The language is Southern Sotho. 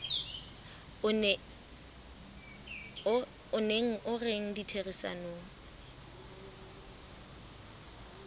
o neng o rena ditherisanong